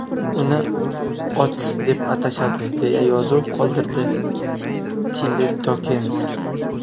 Uni Otis deb atashadi”, deya yozuv qoldirdi Tile Dokens.